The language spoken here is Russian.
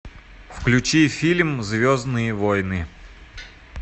включи фильм звездные войны